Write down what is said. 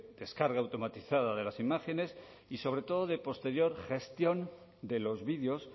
descarga automatizada de las imágenes y sobre todo de posterior gestión de los vídeos